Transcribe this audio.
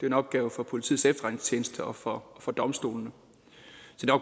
en opgave for politiets efterretningstjeneste og for for domstolene